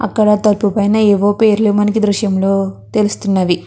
ఆక్కడ తలుపు పైన ఎవో పేర్లు మనకు దృశ్యం లో తెలుస్తున్నవి.